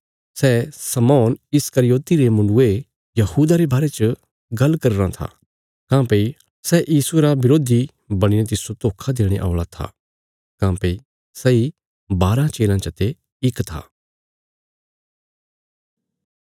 सै शमौन इस्करियोति रे मुण्डुये यहूदा रे बारे च गल्ल करी रां था काँह्भई सै यीशुये रा बरोधी बणीने तिस्सो धोखा देणे औल़ा था काँह्भई सैई बाराँ चेलयां चते इक था